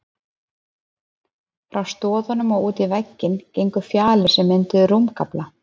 Frá stoðunum og út í vegginn gengu fjalir, sem mynduðu rúmgaflana.